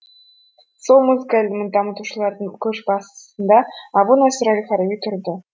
сол музыка ілімін дамытушылардың көшбасында әбу насыр әл фараби тұрды